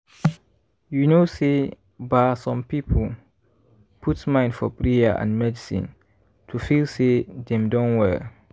you know say ba some people put mind for prayer and medicine to feel say dem don well.